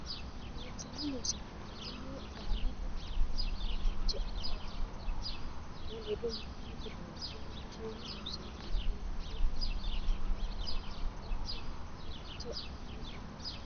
Loonseemmo Loossinanni kayinni qaallate labbanno fiche ane ledo mitteenni loonso Loonseemmo Loossinanni Loonseemmo Loossinanni kayinni qaallate labbanno fiche ane ledo.